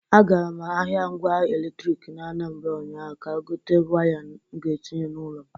A gara m ahịa ngwa eletrik dị n’Anambara ụnyaahụ ka gote waya m ga-etinye n’ụlọ m.